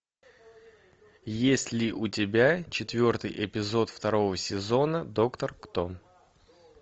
есть ли у тебя четвертый эпизод второго сезона доктор кто